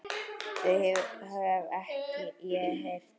Þau hef ég heyrt.